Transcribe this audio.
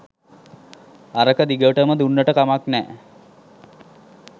අරක දිගටම දුන්නට කමක් නෑ